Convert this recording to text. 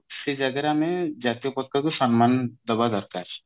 ସେ ଜାଗାରେ ଆମେ ଜାତୀୟ ପତାକା କୁ ସମ୍ମାନ ଦେବା ଦରକାର